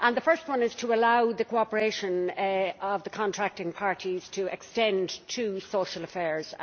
The first one is to allow the cooperation of the contracting parties to extend to social affairs.